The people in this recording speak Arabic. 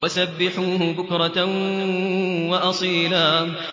وَسَبِّحُوهُ بُكْرَةً وَأَصِيلًا